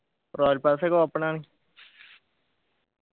royal pass ഒക്കെ open ആണ്